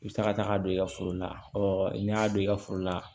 I bɛ taa ka taga don i ka foro la ɔ n'i y'a don i ka foro la